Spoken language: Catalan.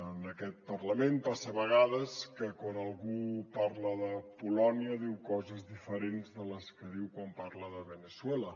en aquest parlament passa a vegades que quan algú parla de polònia diu coses diferents de les que diu quan parla de veneçuela